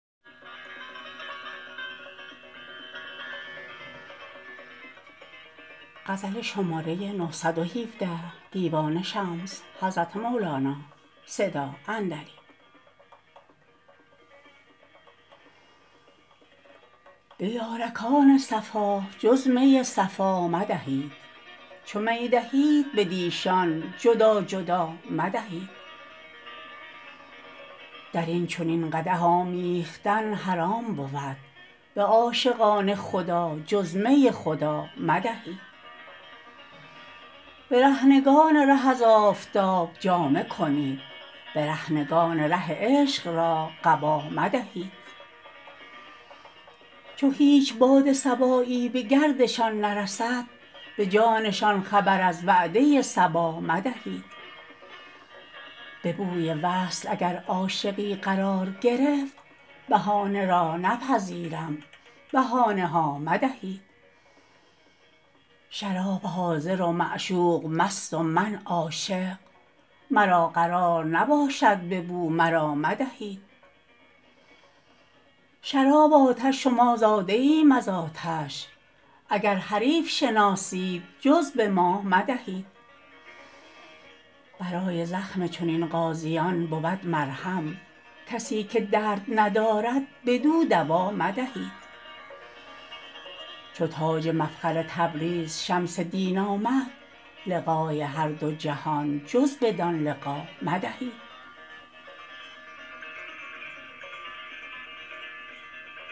به یارکان صفا جز می صفا مدهید چو می دهید بدیشان جدا جدا مدهید در این چنین قدح آمیختن حرام بود به عاشقان خدا جز می خدا مدهید برهنگان ره از آفتاب جامه کنید برهنگان ره عشق را قبا مدهید چو هیچ باد صبایی به گردشان نرسد به جانشان خبر از وعده صبا مدهید به بوی وصل اگر عاشقی قرار گرفت بهانه را نپذیرم بهانه ها مدهید شراب حاضر و معشوق مست و من عاشق مرا قرار نباشد به بو مرا مدهید شراب آتش و ما زاده ایم از آتش اگر حریف شناسید جز به ما مدهید برای زخم چنین غازیان بود مرهم کسی که درد ندارد بدو دوا مدهید چو تاج مفخر تبریز شمس دین آمد لقای هر دو جهان جز بدان لقا مدهید